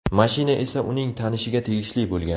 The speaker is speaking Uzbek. Mashina esa uning tanishiga tegishli bo‘lgan.